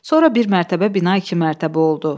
Sonra bir mərtəbə bina iki mərtəbə oldu.